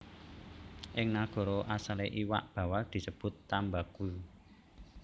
Ing nagara asalé iwak bawal disebut tambaqui